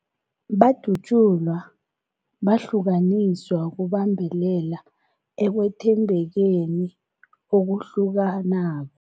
Badatjulwa, bahlukaniswa ukubambelela ekwethembekeni okuhlukanako.